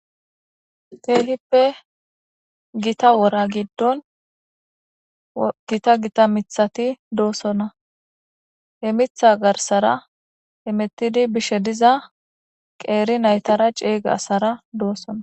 teehippe gita wora giddon gita gita mithati doosona he mitha garsara emettidi bishe diza qeeri naytara ceyge asara doossona